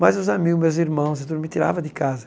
Mas os amigo, meus irmãos, me tirava de casa.